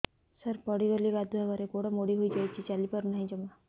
ସାର ପଡ଼ିଗଲି ଗାଧୁଆଘରେ ଗୋଡ ମୋଡି ହେଇଯାଇଛି ଚାଲିପାରୁ ନାହିଁ ଜମା